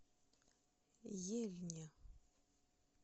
ельне